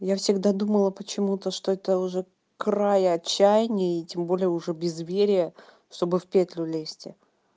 я всегда думала почему-то что это уже край отчаяния и тем более уже безверия чтобы в петлю лезть